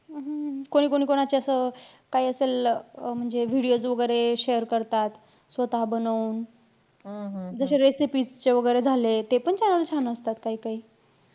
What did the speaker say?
हम्म कोणी-कोणी कोणाच्या असं काई असं ल~ अं म्हणजे videos वैगेरे share करतात स्वतः बनवून. जशे recipes चे वैगेरे झाले. तेपण छान छान असतात काई काई.